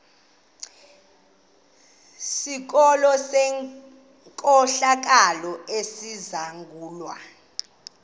sikolo senkohlakalo esizangulwa